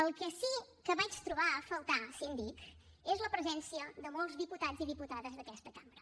el que sí que vaig trobar a faltar síndic és la presència de molts diputats i diputades d’aquesta cambra